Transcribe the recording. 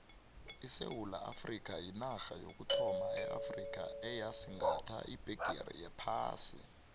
isewula afrikha yinarha yokuthoma eafrikha eyasigatha ibhegere yephasi